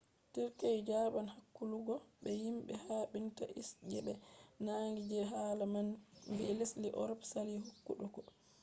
turkey jaban hakkuluggo be himbe habinta isis je be nangi je haala man vi lesde europe sali hokkutuggo